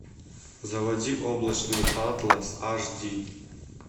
заводи облачный атлас аш ди